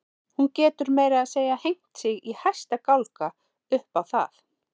Hún getur meira að segja hengt sig í hæsta gálga upp á það.